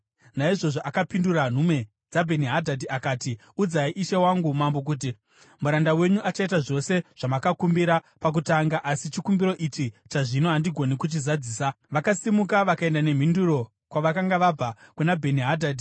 Naizvozvo akapindura nhume dzaBheni-Hadhadhi akati, “Udzai ishe wangu mambo kuti, ‘Muranda wenyu achaita zvose zvamakamukumbira pakutanga, asi chikumbiro ichi chazvino handigoni kuchizadzisa.’ ” Vakasimuka vakaenda nemhinduro kwavakanga vabva, kuna Bheni-Hadhadhi.